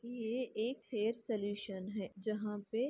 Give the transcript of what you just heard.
यह एक hair solution है जहाँ पे --